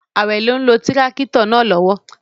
Awele n lo tirakito naa lowo